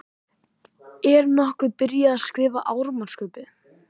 Er nokkuð byrjað að skrifa áramótaskaupið?